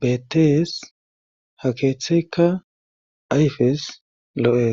betees ha keeththeykka ayfes lo7es